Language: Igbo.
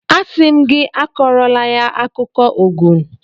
Asị m gị akọrọla ya akụkọ Ogun!